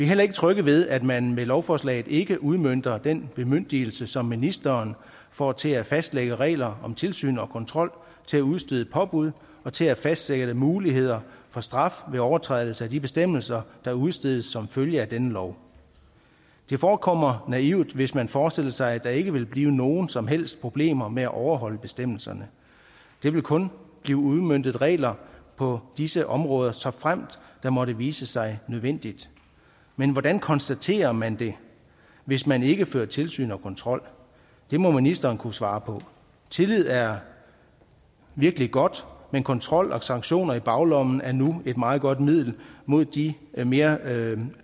heller ikke trygge ved at man med lovforslaget ikke udmønter den bemyndigelse som ministeren får til at fastlægge regler om tilsyn og kontrol til at udstede påbud og til at fastsætte muligheder for straf ved overtrædelser af de bestemmelser der udstedes som følge af denne lov det forekommer naivt hvis man forestillede sig at der ikke ville blive nogen som helst problemer med at overholde bestemmelserne der vil kun blive udmøntet regler på disse områder såfremt det måtte vise sig nødvendigt men hvordan konstaterer man det hvis man ikke fører tilsyn og kontrol det må ministeren kunne svare på tillid er virkelig godt men kontrol og sanktioner i baglommen er nu et meget godt middel mod de mere